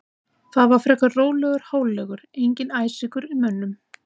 Það var frekar rólegur hálfleikur, enginn æsingur í mönnum.